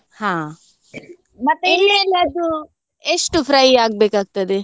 ಹಾ ಎಷ್ಟು fry ಆಗ್ಬೇಕು ಆಗ್ತದೆ?